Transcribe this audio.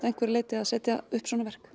að einhverju leyti að setja upp svona verk